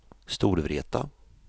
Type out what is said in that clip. Storvreta